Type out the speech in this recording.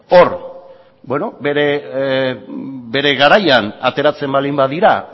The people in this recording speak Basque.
bere garaian ateratzen baldin badira